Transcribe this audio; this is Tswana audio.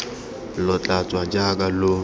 lo tla tswa jaaka lo